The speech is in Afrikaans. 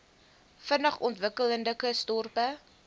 vinnig ontwikkelende kusdorpe